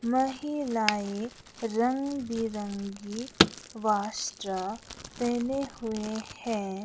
महिलाएं रंग बिरंगी वस्त्र पहने हुए हैं।